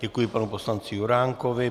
Děkuji panu poslanci Juránkovi.